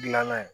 Gilanna ye